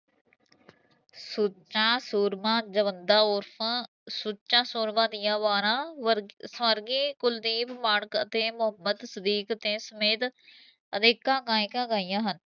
ਸੁੱਚਾ ਸੂਰਮਾ ਜਵੰਦਾ ਉਰ੍ਫਾ ਸੁੱਚਾ ਸੂਰਮਾ ਦੀਆ ਵਾਰਾ ਵਰਗੀ ਸਵਰਗੀ ਕੁਲਦੀਪ ਮਾਣਕ ਅਤੇ ਮੁਹੱਮਦ ਸਦੀਕ ਦੇ ਸਮੇਤ ਅਨੇਕਾ ਗਾਇਕਾ ਗਾਈਆ ਹਨ